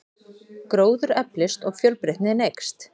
Gróður eflist og fjölbreytnin eykst.